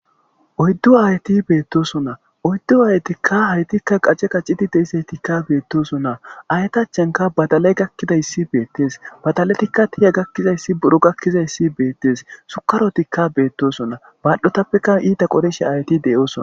oyddu aayti beettosonna oyddu haytikka haytikka qacce qacciti deisaytikka beettosonna aytachanka badalay gakkidayssi beettes badaletikka tiya gakkizayssi buro gakkizayssi beettes sukarotikka beettosonna baaldotappeka iita qorishe ayti de7oosona